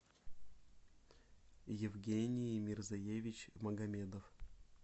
евгений мерзоевич магомедов